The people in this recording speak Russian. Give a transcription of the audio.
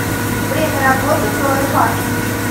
время работы троя парк